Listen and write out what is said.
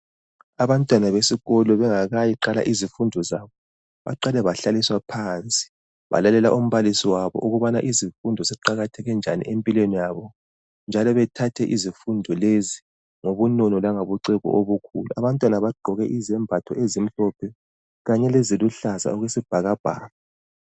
Abantwana besikolo bengakayiqala izifundo zabo, baqale bahlaliswa phansi. Balalela umbalisi wabo ukubana izifundo ziqakatheke njani empilweni yabo njalo bethathe izifundo lezi ngobunono langobuciko obukhulu. Abantwana bagqoke izembatho ezimhlophe kanye leziluhlaza okwesibhakabhaka.